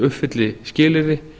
uppfylli skilyrði